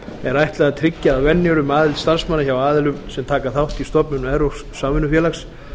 er ætlað að tryggja að venjur um aðild starfsmanna hjá aðilum sem taka þátt í stofnun evrópsks samvinnufélags